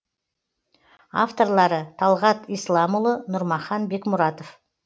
авторлары талғат исламұлы нұрмахан бекмұратов